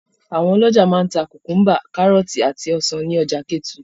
Àwọn ọlọ́jà máa ń ta kùkúḿbà, kárọ́tì, àti ọsàn ní ọjà Kétu.